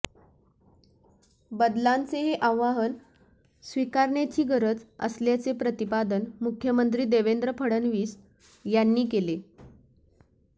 बदलांचे हे आव्हान स्वीकारण्याची गरज असल्याचे प्रतिपादन मुख्यमंत्री देवेंद्र फडणवीस यांनी केले